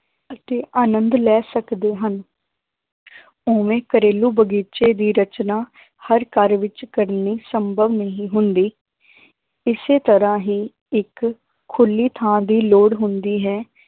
ਅਤੇ ਆਨੰਦ ਲੈ ਸਕਦੇ ਹਨ ਉਵੇਂ ਘਰੇਲੂ ਬਗ਼ੀਚੇ ਦੀ ਰਚਨਾ ਹਰ ਘਰ ਵਿੱਚ ਕਰਨੀ ਸੰਭਵ ਨਹੀਂ ਹੁੰਦੀ ਇਸੇ ਤਰ੍ਹਾਂ ਹੀ ਇੱਕ ਖੁੱਲੀ ਥਾਂ ਦੀ ਲੋੜ ਹੁੰਦੀ ਹੈ